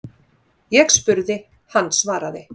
Ég spurði, hann svaraði.